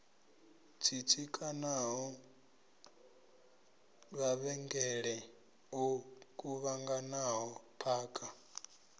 tsitsikanaho mavhengele o kuvhanganaho phakha